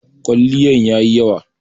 kwaliyan yayi yawa